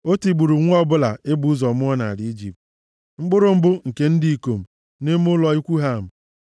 O tigburu nwa ọbụla e bụ ụzọ mụọ nʼala Ijipt, mkpụrụ mbụ nke ndị ikom nʼime ụlọ ikwu Ham.